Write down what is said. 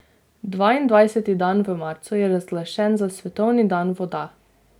Dvaindvajseti dan v marcu je razglašen za svetovni dan voda.